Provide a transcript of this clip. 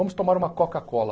Vamos tomar uma Coca-Cola.